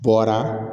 Bɔra